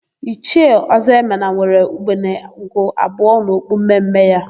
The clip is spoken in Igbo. Ichie Ọzọemena nwere ugbene ugo abụọ n'okpu mme mme ya.